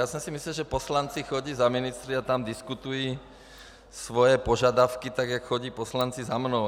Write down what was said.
Já jsem si myslel, že poslanci chodí za ministry a tam diskutují svoje požadavky, tak jak chodí poslanci za mnou.